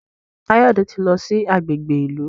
Kayode tí lọ sí agbègbè ìlú